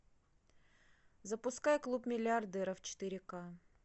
запускай клуб миллиардеров четыре ка